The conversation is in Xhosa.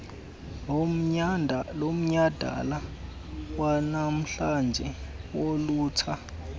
lomnyadala wanamhlanje wolutsha